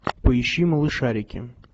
поищи малышарики